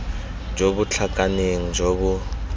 jo bo tlhakaneng jo bo